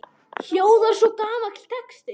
hljóðar svo gamall texti